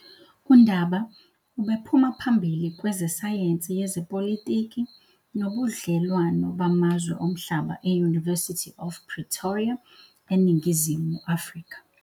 UNdaba ubephuma phambili kwezesayensi yezepolitiki nobudlelwano bamazwe omhlaba e- University of Pretoria eNingizimu Afrika.